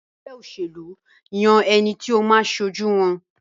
ègbé òṣèlú yàn ẹní tí o má aṣojú wón.